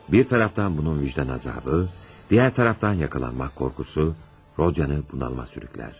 Bir tərəfdən bunun vicdan əzabı, digər tərəfdən yaxalanmaq qorxusu Rodyanı bunalıma sürüklər.